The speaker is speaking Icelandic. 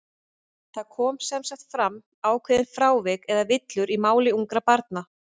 Það koma sem sagt fram ákveðin frávik, eða villur, í máli ungra barna.